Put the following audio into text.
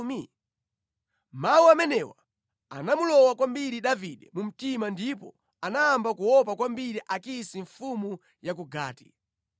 Mawu amenewa anamulowa kwambiri Davide mu mtima ndipo anayamba kuopa kwambiri Akisi mfumu ya ku Gati.